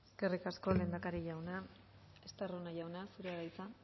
eskerrik asko lehendakari jauna estarrona jauna zurea da hitza